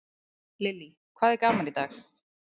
Lillý: Hvað er gaman í dag?